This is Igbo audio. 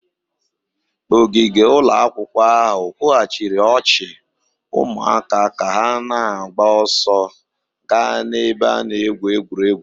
Ogige ụlọ akwụkwọ ahụ kwughachiri ọchị ụmụaka ka ha na-agba ọsọ gaa n'ebe a na-egwu egwuregwu